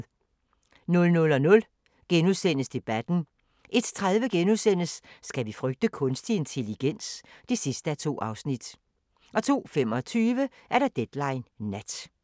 00:00: Debatten * 01:30: Skal vi frygte kunstig intelligens? (2:2)* 02:25: Deadline Nat